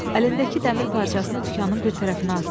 Əlindəki dəmir parçasını dükanın bir tərəfinə atdı.